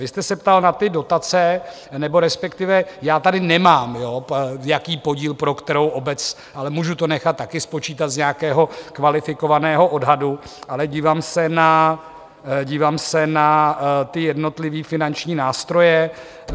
Vy jste se ptal na ty dotace, nebo respektive já tady nemám, jaký podíl pro jakou obec, ale můžu to nechat také spočítat z nějakého kvalifikovaného odhadu, ale dívám se na, dívám se na ty jednotlivé finanční nástroje.